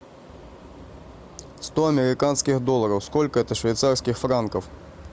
сто американских долларов сколько это швейцарских франков